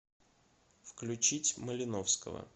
включить малиновского